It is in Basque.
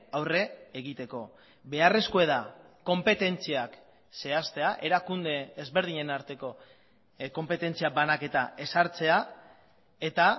aurre egiteko beharrezkoa da konpetentziak zehaztea erakunde ezberdinen arteko konpetentzia banaketa ezartzea eta